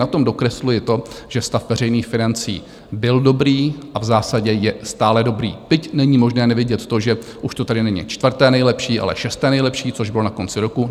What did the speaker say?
Na tom dokresluji to, že stav veřejných financí byl dobrý a v zásadě je stále dobrý, byť není možné nevidět to, že už to tedy není čtvrté nejlepší, ale šesté nejlepší, což bylo na konci roku.